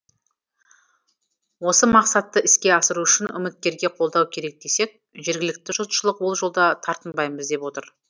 осы мақсатты іске асыру үшін үміткерге қолдау керек десек жергілікті жұртшылық ол жолда тартынбаймыз деп отыр